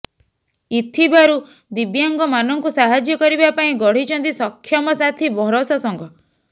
ଇଥିବାରୁ ଦିବ୍ୟାଙ୍ଗମାନଙ୍କୁ ସାହାଯ୍ୟ କରିବା ପାଇଁ ଗଢିଛନ୍ତି ସକ୍ଷମ ସାଥୀ ଭରସା ସଂଘ